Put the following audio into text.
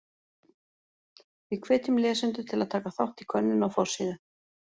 Við hvetjum lesendur til að taka þátt í könnun á forsíðu.